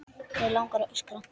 Mig langar að öskra.